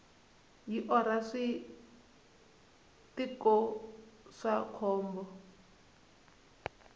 yi orha switiko swa khombo